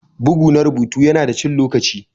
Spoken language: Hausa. Bugu na rubutu yana da cin lokaci.